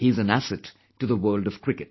He is an asset to the world of cricket